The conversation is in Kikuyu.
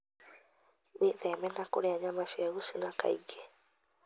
Wĩtheme na kũrĩa nyama cia gũcina kaingĩ.